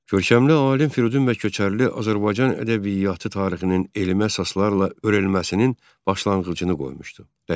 Görkəmli alim Firidun bəy Köçərli Azərbaycan ədəbiyyatı tarixinin elmi əsaslarla öyrənilməsinin başlanğıcını qoymuşdu.